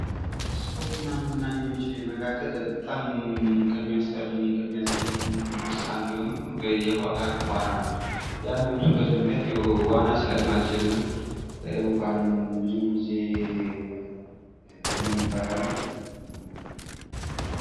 ከስፖርት እና መዝናኛዎች መካከል በጣም ከሚያስጠሉኝ ከሚያስጠይፉኝ ውስጥ አንዱ የሆነው የውሃ ዋና ነው ። ያም የሆነበት ምክንያት የው ዋና ስለማልችል እና ውሃን ብዙ ጊዜ ስለምፈራ ነው ።